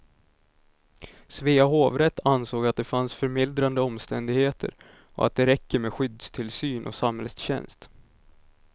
Svea hovrätt ansåg att det fanns förmildrande omständigheter och att det räcker med skyddstillsyn och samhällstjänst.